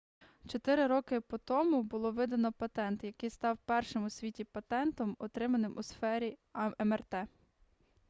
чотири роки по тому було видано патент який став першим у світі патентом отриманим у сфері мрт